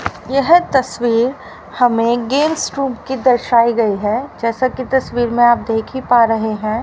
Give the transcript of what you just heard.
यह तस्वीर हमें गेम्स रूम की दर्शाई गई है जैसा कि तस्वीर में आप देखी पा रहे हैं।